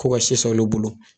Ko si san olu bolo